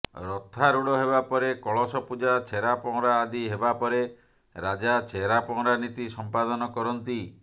ରଥାରୂଢ ହେବା ପରେ କଳସ ପୂଜା ଛେରା ପହଁରା ଆଦି ହେବାପରେ ରାଜା ଛେରାପହଁରା ନୀତି ସମ୍ପାଦନ କରନ୍ତି